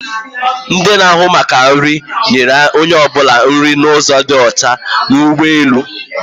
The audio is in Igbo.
Ndi na-áhụ̀ maka nri, nyere onye ọbụla nri n'ụzo dị ọcha n'ụgbọelu